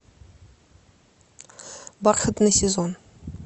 бархатный сезон